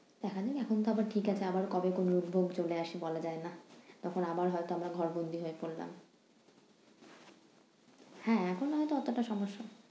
তাহলে এখন তো আবার ঠিক আছে, আবারো কবে কোন rules tools চলে আসে বলা যায় না। তখন আবার হয়তো আমরা ঘর বন্দি হয়ে পরালাম। হ্যাঁ এখন হয়তো অতোটা সমস্যা